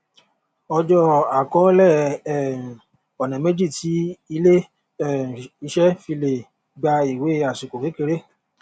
ọjó àkọólè um ònà méjì tí ilé um iṣé fi lè gba ìwé àsìkò kékeré